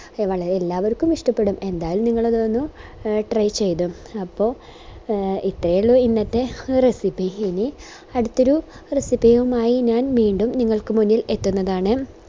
നമ്മളെല്ലാവർക്കും ഇഷ്ടപ്പെടും എന്തായാലും നിങ്ങളതൊന്ന് എ try ചെയ്ത് അപ്പൊ എ ഇത്രേ ഉള്ളു ഇന്നത്തെ recipe ഇനി അടുത്തൊരു recipe യുമായി ഞാൻ വീണ്ടും നിങ്ങൾക്ക് മുന്നിൽ എത്തുന്നതാണ്